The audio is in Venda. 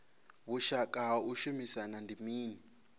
vhushaka ha u shumisana ndi mini